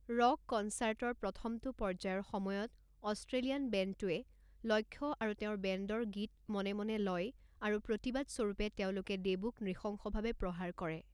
Rock কনচাৰ্টৰ প্ৰথমটো পৰ্যায়ৰ সময়ত, অষ্ট্ৰেলিয়ান বেণ্ডটোৱে লক্ষ্য আৰু তেওঁৰ বেণ্ডৰ গীত মনে মনে লয়, আৰু প্ৰতিবাদ স্বৰূপে তেওঁলোকে দেবুক নৃশংসভাৱে প্ৰহাৰ কৰে।